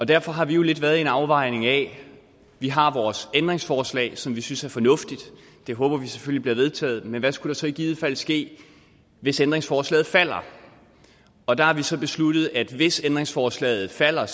derfor har vi jo lidt været inde i en afvejning af at vi har vores ændringsforslag som vi synes er fornuftigt og det håber vi selvfølgelig bliver vedtaget men hvad skulle der så i givet fald ske hvis ændringsforslaget falder og der har vi så besluttet at hvis ændringsforslaget falder